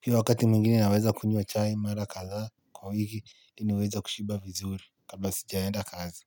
Pia wakati mwingine naweza kunywa chai mara kadha kwa wiki niweza kushiba vizuri kabla sijaenda kazi.